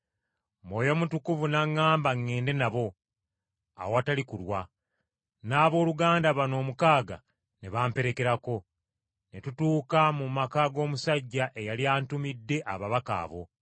Mwoyo Mutukuvu n’aŋŋamba ŋŋende nabo, awatali kulwa, n’abooluganda bano omukaaga ne bamperekerako, ne tutuuka mu maka g’omusajja eyali antumidde ababaka abo.